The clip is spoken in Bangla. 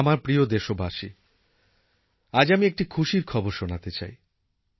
আমার প্রিয় দেশবাসী আজ আমি একটি খুশির খবর শোনাতে চাই